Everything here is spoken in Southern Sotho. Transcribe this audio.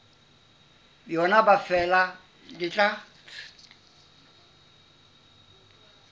yona ha feela le tla